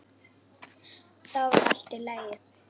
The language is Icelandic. Þá var allt í lagi.